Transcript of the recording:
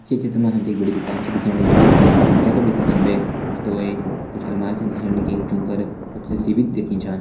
ये चित्र मा हम ते के बड़ी दुकान छा दिखेण लगीं जै का भितर हम ते कुछ दावेय अर कुछ अलमारी छन दिखेण लगीं जुं पर कुछ दिखि छन।